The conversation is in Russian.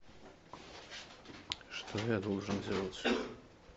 что я должен делать